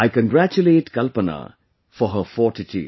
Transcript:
I congratulate Kalpana for her fortitude